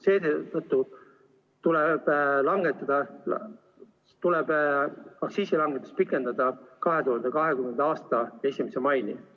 Seetõttu tuleb aktsiisilangetust pikendada 2020. aasta 1. maini.